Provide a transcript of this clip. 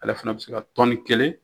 Ala fana bɛ se ka tɔni kelen